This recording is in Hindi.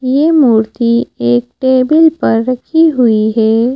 ये मूर्ति एक टेबल पर रखी हुई है।